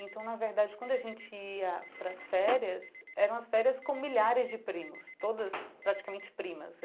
Então, na verdade, quando a gente ia para as férias, eram as férias com milhares de primos, todas praticamente primas.